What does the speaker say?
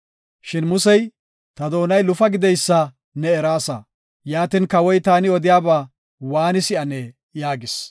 Shin Musey, “Ta doonay lufa gideysa ne eraasa, yaatin kawoy taani odiyaba waani si7anee?” yaagis.